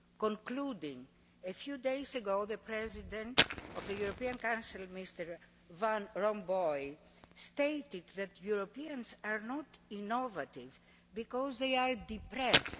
In conclusion, a few days ago, the President of the European Council, Mr Van Rompuy, stated that Europeans are not innovative because they are depressed.